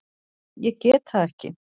Ég get það ekki